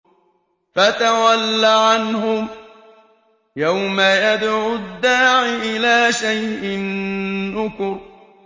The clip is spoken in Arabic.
فَتَوَلَّ عَنْهُمْ ۘ يَوْمَ يَدْعُ الدَّاعِ إِلَىٰ شَيْءٍ نُّكُرٍ